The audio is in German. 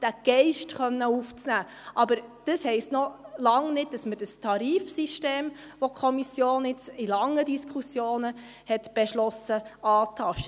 Das heisst aber noch lange nicht, dass wir das Tarifsystem antasten, das die Kommission jetzt in langen Diskussionen beschlossen hat.